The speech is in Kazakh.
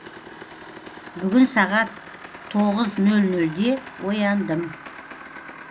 бүгін сағат тоғыз нөл нөлде ояндым